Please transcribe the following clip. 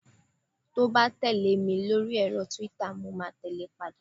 to ba tẹle mi lori ẹrọ twitter mo ma tẹle e padà